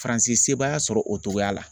Faransi sebaaya sɔrɔ o togoya la.